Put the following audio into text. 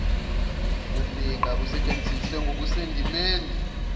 ukufingqa kusetshenziswe ngokusendimeni